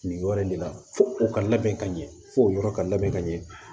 Nin yɔrɔ in de la fo u ka labɛn ka ɲɛ fo o yɔrɔ ka labɛn ka ɲɛ